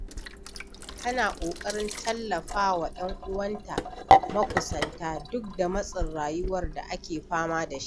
Tana ƙoƙarin tallafa wa 'yan uwanta makusanta duk da matsin rayuwar da ake fama da shi.